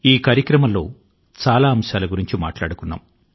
ఈ కాలం లో మనం అనేకానేక విషయాల గురించి మాట్లాడుకున్నాము